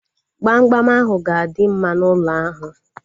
Gbamgbam ahu ga-adị mma n'ụlọ ahu